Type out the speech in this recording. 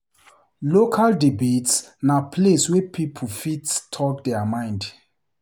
Local debates na place wey people fit talk their mind.